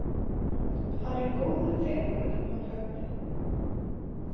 Hann er góður drengur hann Högni.